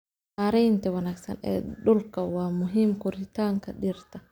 Maareynta wanaagsan ee dhulka waa muhiim koritaanka dhirta.